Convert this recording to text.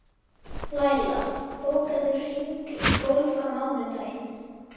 Læla, bókaðu hring í golf á mánudaginn.